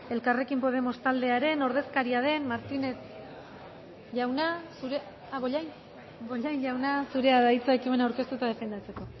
elkarrekin podemos taldearen ordezkaria den bollain jauna zurea da hitza ekimena aurkeztu eta defendatzeko